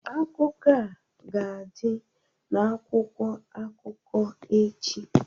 Akụkọ a ga-adị n'akwụkwọ akụkọ echi